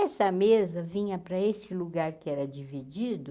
Essa mesa vinha para esse lugar que era dividido,